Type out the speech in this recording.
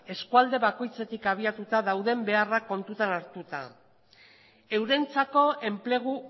eskualde bakoitzetik abiatuta dauden beharrak kontuan hartuta eurentzako enplegu